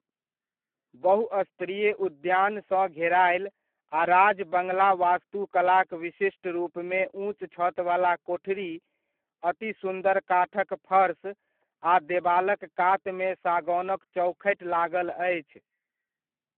बहुस्तरीय उद्यानसँ घेरायल आ राज बङ्गला वास्तुकलाक विशिष्ट रूपमे ऊँच छतवला कोठरी, अति सुन्दर काठक फर्सआ देबालक कातमे सागौनक चौखटि लागल अछि।